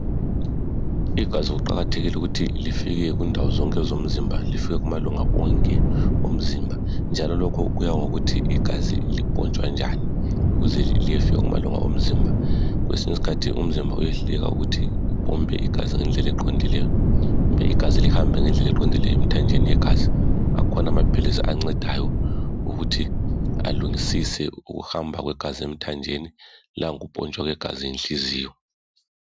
Igazi kuqakathekile ukuthi lifike kundawo zonke zomzimba lifike kumalunga onke omzimba njalo lokho kuya ngokuthi igazi lipontshwa njani ukuze liyefika kumalunga omzimba. Kwesinye iskhathi umzimba uyehluleka ukuthi upompe igazi ngendlela eqondileyo kumbe igazi lihambe ngendlela eqondileyo emthanjeni yegazi. Akhona amaphilisi ancedayo ukuthi alungisise ukuhamba kwegazi emthanjeni langokupontshwa kwegazi yinhliziyo.